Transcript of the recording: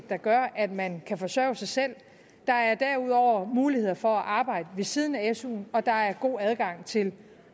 der gør at man kan forsørge sig selv der er derudover muligheder for at arbejde ved siden af suen og der er god adgang til